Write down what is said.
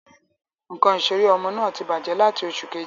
Ǹkan ìseré ọmọ náà tí bàjé lati oṣù Kejì